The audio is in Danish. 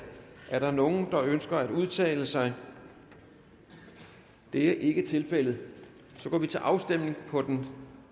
er der nogen der ønsker at udtale sig det er ikke tilfældet og så går vi til afstemning på den